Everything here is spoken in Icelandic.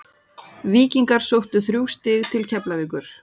Víkingar sóttu þrjú stig til Keflavíkur.